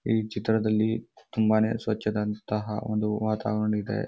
ಈ ಚಿತ್ರದಲ್ಲಿ ತುಂಬಾನೇ ಸ್ವಚದಂತಹ ಒಂದು ವಾತಾವರಣ ಇದೆ.